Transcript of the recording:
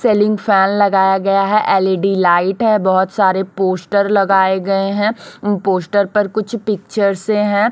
Ceiling fan लगाया गया है एल_इ_डी लाइट है बहोत सारे पोस्टर लगाए गए हैं उन पोस्टर पर कुछ पिक्चर से हैं।